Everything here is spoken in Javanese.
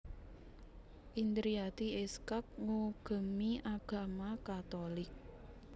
Indriati Iskak ngugemi agama Katolik